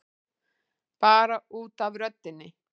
Bara út af röddinni.